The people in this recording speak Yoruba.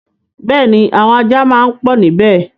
Bẹ́ẹ̀ni, àwọn ajá máa pọ̀ níbẹ̀.